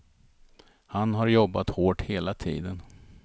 Han har jobbat hårt hela tiden.